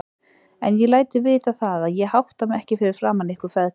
En ég læt þig vita það, að ég hátta mig ekki fyrir framan ykkur feðga.